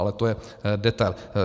Ale to je detail.